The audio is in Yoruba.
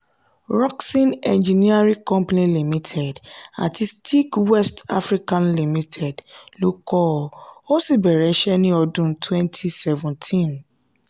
rockson engineering company limited àti steag west africa limited ló kọ́ ọ ó sì bẹ̀rẹ̀ iṣẹ́ ní ọdún twenty seventeen